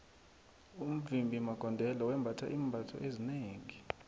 umvimbi magondelo wembatha iimbatho ezinengi